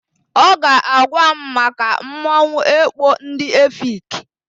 Ọ ga-agwa m maka mmanwụ ekpo ndị Efik.